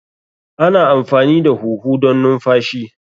Ana amfani da huhu don numfashi.